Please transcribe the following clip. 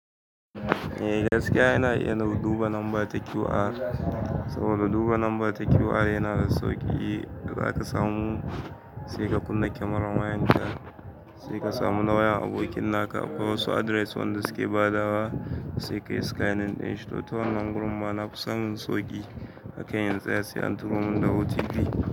Eh gaskiya yana iya duba lambar ta QR, saboda duba lambar ta QR yana da sauƙi. Da za ka samu sai ka kunna kyamarar wayan ka, sai ka samu wayan abokin naka akwai wasu address wanda suke badawa, sai ka scanin ɗin shi, to ta wannan gurin manafi samun sauƙi a kan in tsaya sai an turomin da OTP.